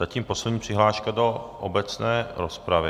Zatím poslední přihláška do obecné rozpravy.